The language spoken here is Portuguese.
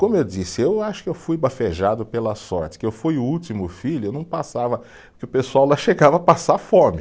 Como eu disse, eu acho que eu fui bafejado pela sorte, que eu fui o último filho, eu não passava, porque o pessoal lá chegava a passar fome.